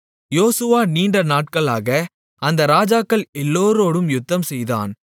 யோசுவா நீண்டநாட்களாக அந்த ராஜாக்கள் எல்லோரோடும் யுத்தம்செய்தான்